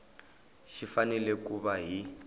xi fanele ku va hi